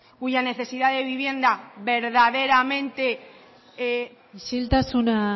cuya necesidad de vivienda verdaderamente no existía isiltasuna